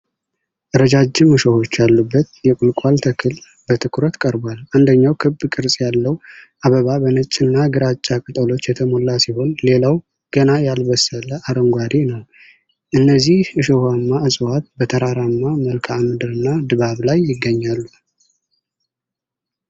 ረዣዥም እሾኾች ያሉበት የቁልቋል ተክል በትኩረት ቀርቧል። አንደኛው ክብ ቅርጽ ያለው አበባ በነጭና ግራጫ ቅጠሎች የተሞላ ሲሆን፣ ሌላው ገና ያልበሰለ አረንጓዴ ነው። እነዚህ እሾሃማ እጽዋት በተራራማ መልክዓ ምድርና ድባብ ላይ ይገኛሉ።